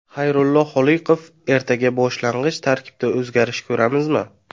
Xayrullo Holiqov: Ertaga boshlang‘ich tarkibda o‘zgarish ko‘ramizmi?